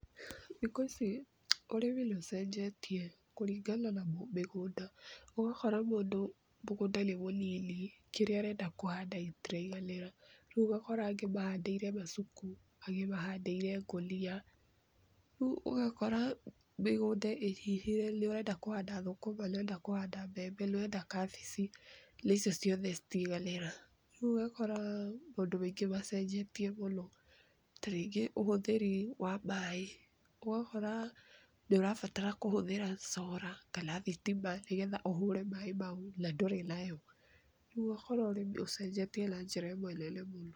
Thikũ ici ũrĩmi nĩũcenjetie kũringana na mĩgũnda, ũgakora mũndũ mũgũnda nĩ mũnini , kĩrĩa arenda kũhanda gĩtiraiganĩra, rĩu ũgakora angĩ mahandĩire macuku, angĩ mahandĩire ngũnia riũ ũgakora mĩgunda inyihĩre, nĩ ũrenda kũhanda thũkũma, nĩ ũrenda kũhanda mbembe, nĩ ũrenda kabici. Na icio ciothe itiganĩra. Riũ ũgakora maũndũ maĩngĩ macenjetie mũno ta rĩngĩ ũhũthĩri wa maĩ, ũgakora nĩũrabatara kũhũthĩra cora kana thitima nĩgetha ũhũre maĩ mau na ndũri nayo. Rĩu ũgakora Ũrimi ũcenjetie na njĩra ĩmwe nene mũno.